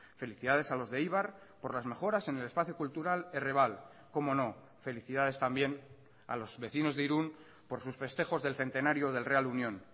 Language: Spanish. felicidades a los de eibar por las mejoras en el espacio cultural errebal cómo no felicidades también a los vecinos de irun por sus festejos del centenario del real unión